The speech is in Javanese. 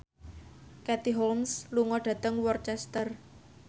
Katie Holmes lunga dhateng Worcester